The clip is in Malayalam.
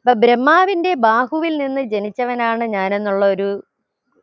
അപ്പോ ബ്രഹ്മാവിന്റെ ബാഹുവിൽ നിന്ന് ജനിച്ചവനാണ് ഞാൻ എന്നുള്ള ഒരു